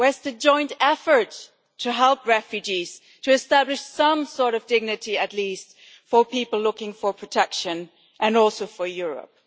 Where is the joint effort to help refugees, to establish some sort of dignity at least for people looking for protection, and also for Europe?